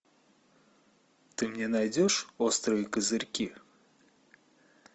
ты мне найдешь острые козырьки